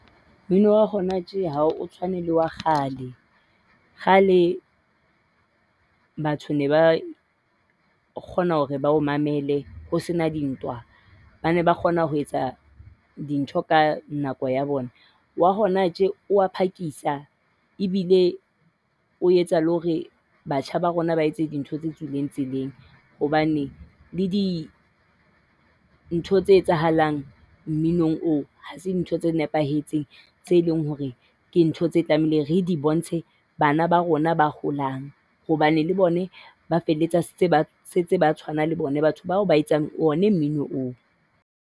Mmino wa hona tje ha o tshwane le wa kgale. Kgale batho ne ba kgona hore ba o mamele ho sena dintwa. Ba ne ba kgona ho etsa dintho ka nako ya bona. Wa hona tje o a phakisa e bile o etsa le hore batjha ba rona ba etse dintho tse tswileng tseleng. Hobane le dintho tse etsahalang mminong oo ha se ntho tse nepahetseng tseo e leng hore ke ntho tseo re tlamehileng re di bontshe bana ba rona ba holang. Hobane le bona ba felletsa se ba setse ba tshwana le bona batho bao ba etsang ona mmino oo.